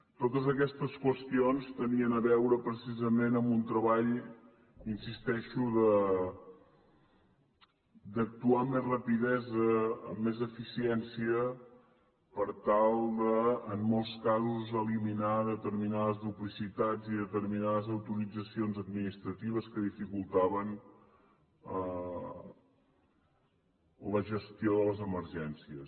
totes aquestes qüestions tenien a veure precisament amb un treball hi insisteixo d’actuar amb més rapidesa amb més eficiència per tal de en molts casos eliminar determinades duplicitats i determinats autoritzacions administratives que dificultaven la gestió de les emergències